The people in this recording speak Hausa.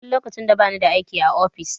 Duk lokacin da bani da aiki a ofis.